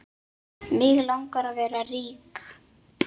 Mig langar að vera rík.